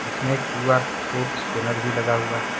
इसमें QR code scanner भी लगा हुआ है।